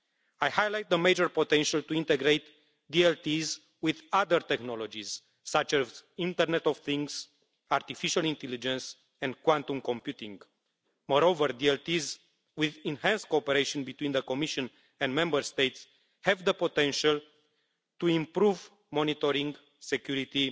I highlight the major potential to integrate DLTs with other technologies such as the Internet of Things, artificial intelligence and quantum computing. Moreover DLTs, with enhanced cooperation between the Commission and Member States, have the potential to improve monitoring, security